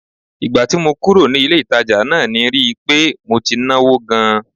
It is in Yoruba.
Ìgbà tí mo kúrò ní ilé-ìtàjà náà ni rí i pé mo ti náwó gan-an